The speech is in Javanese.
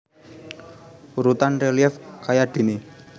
Urutan relief kayadéné